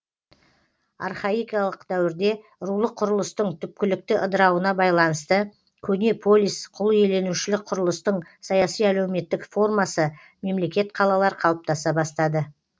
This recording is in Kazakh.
архаикалық дәуірде рулық құрылыстың түпкілікті ыдырауына байланысты көне полис құлиеленушілік құрылыстың саяси әлеуметтік формасы мемлекет қалалар қалыптаса бастады